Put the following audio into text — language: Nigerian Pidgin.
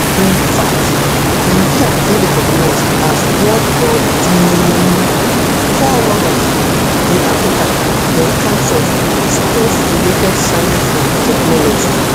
in fact nigeria dey recognised as one of di fore runners in africa in terms of spacerelated science and technology